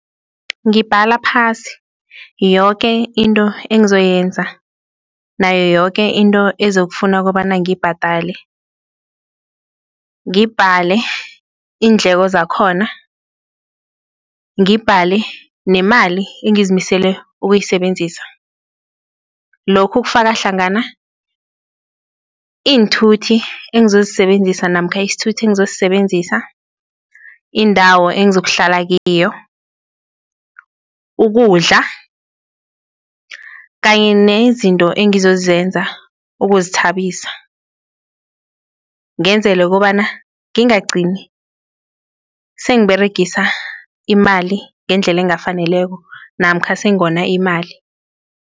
Ngibhala phasi yoke into engizoyenza nayo yoke into esizokufuna kobana ngiyibhadale, ngibhale iindleko zakhona, ngibhale nemali engizimisele ukuyisebenzisa lokhu kufaka hlangana, iinthuthi engizosisebenzisa namkha isithuthi engizosisebenzisa, indawo engizokuhlala kiyo, ukudla kanye nezinto ekungizozenza ukuzithabisa, ngenzela kobana ngingagcini sengiberegisa imali ngendlela engakafaneleko namkha sengona imali.